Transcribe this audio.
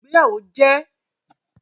Ìgbéyàwó ni àjọyọ̀ ti àsopọ̀ ìfẹ́